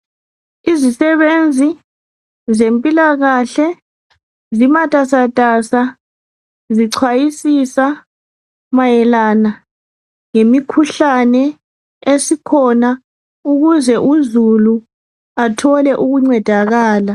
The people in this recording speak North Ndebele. Izisebenzi zempilakahle zimatasatasa zichwayisisa mayelana ngemikhuhlane esikhona ukuze uzulu athole ukuncedakala